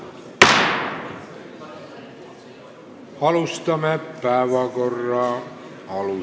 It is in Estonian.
Läheme päevakorra juurde.